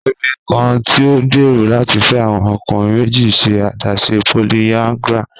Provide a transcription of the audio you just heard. Obinrin kan ti o gbero lati fẹ awọn ọkunrin meji n ṣe adaṣe polyandry